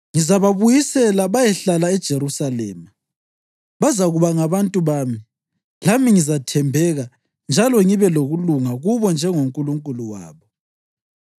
Ngizababuyisela bayehlala eJerusalema; bazakuba ngabantu bami, lami ngizathembeka njalo ngibe lokulunga kubo njengoNkulunkulu wabo.”